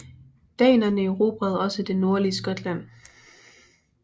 Danerne erobrede også det nordlige Skotland